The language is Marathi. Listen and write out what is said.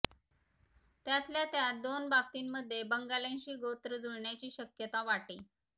त्यातल्या त्यात दोन बाबतींमध्ये बंगाल्यांशी गोत्र जुळण्याची शक्यता वाटे